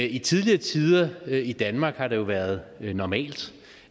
i tidligere tider i danmark har det jo været normalt